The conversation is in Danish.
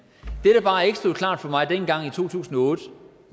få noget